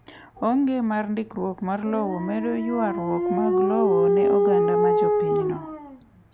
Onge mar ndikruok mar lowo medo ywarruok mag lowo ne oganda ma jopinyno.